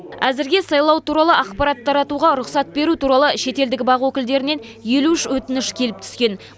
әзірге сайлау туралы ақпарат таратуға рұқсат беру туралы шетелдік бақ өкілдерінен елу үш өтініш келіп түскен